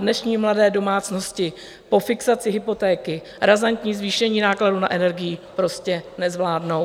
Dnešní mladé domácnosti po fixaci hypotéky razantní zvýšení nákladů na energii prostě nezvládnou.